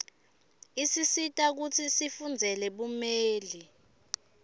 isisita kutsi sifundzele bumeli